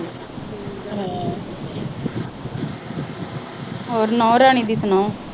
ਹੋਰ ਨੂੰਹ ਰਾਣੀ ਦੀ ਸੁਣਾ।